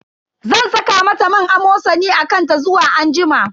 Zan saka mata man Amosani a kan ta zuwa anjima.